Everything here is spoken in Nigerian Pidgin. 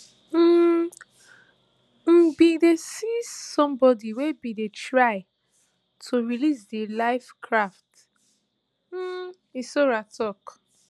um im bin dey see somebody wey bin dey try to release di life raft um hissora tok